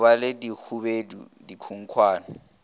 go ba le bohubedu dikhunkhwane